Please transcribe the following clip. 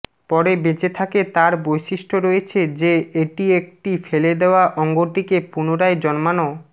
পরে বেঁচে থাকে তার বৈশিষ্ট্য রয়েছে যে এটি একটি ফেলে দেওয়া অঙ্গটিকে পুনরায় জন্মানো